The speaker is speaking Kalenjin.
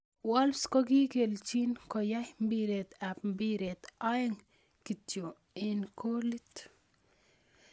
Wolves kokikelchin koyay piret ab mbiret aeng kityo eng golit.